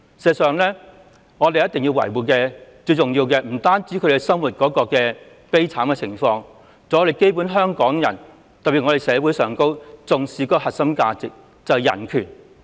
事實上，我們要維護的，不單是聲請人生活狀況，還有香港人的生活狀況，特別是社會上重視的核心價值——人權。